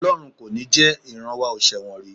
Ọlọ́run kò ní jẹ, ìran wa ò ṣẹ̀wọ̀n rí